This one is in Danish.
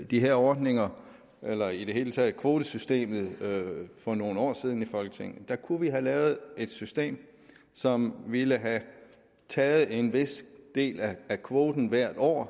de her ordninger eller i det hele taget lavede kvotesystemet for nogle år siden i folketinget kunne vi have lavet et system som ville have taget en vis del af kvoten hvert år